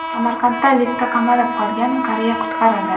Samarqandda liftda qamalib qolgan qariya qutqarildi.